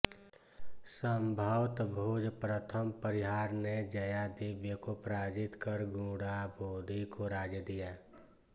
संभवत भोज प्रथम परिहार ने जयादिव्य को पराजित कर गुणांबोधि को राज्य दिया